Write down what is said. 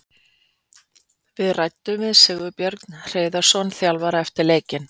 Við ræddum við Sigurbjörn Hreiðarsson þjálfara eftir leikinn.